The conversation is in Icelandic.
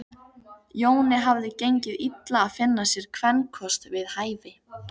Jóni hafði gengið illa að finna sér kvenkost við hæfi.